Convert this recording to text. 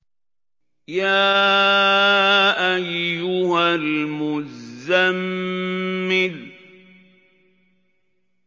يَا أَيُّهَا الْمُزَّمِّلُ